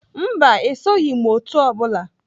Mba, esoghị m otu o bụla.